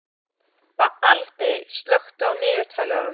Baldey, slökktu á niðurteljaranum.